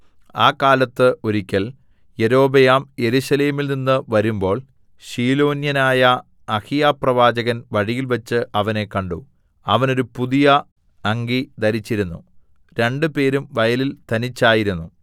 ആ കാലത്ത് ഒരിക്കൽ യൊരോബെയാം യെരൂശലേമിൽനിന്ന് വരുമ്പോൾ ശീലോന്യനായ അഹിയാപ്രവാചകൻ വഴിയിൽവെച്ച് അവനെ കണ്ടു അവൻ ഒരു പുതിയ അങ്കി ധരിച്ചിരുന്നു രണ്ടുപേരും വയലിൽ തനിച്ചായിരുന്നു